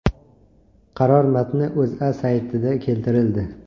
Qaror matni O‘zA saytida keltirildi .